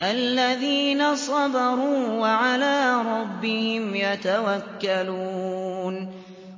الَّذِينَ صَبَرُوا وَعَلَىٰ رَبِّهِمْ يَتَوَكَّلُونَ